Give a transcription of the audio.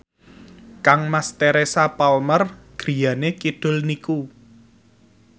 kangmas Teresa Palmer griyane kidul niku